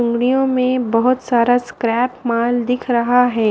में बहोत सारा स्क्रैप माल दिख रहा है।